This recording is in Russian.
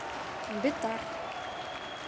бетар